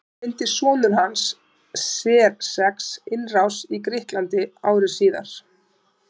Þá reyndi sonur hans Xerxes innrás í Grikkland ári síðar.